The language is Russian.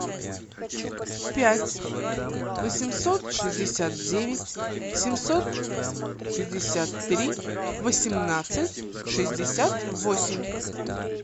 пять восемьсот шестьдесят девять семьсот пятьдесят три восемнадцать шестьдесят восемь